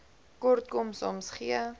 kortkom soms gee